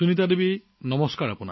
সুনীতা দেৱীজী নমস্কাৰ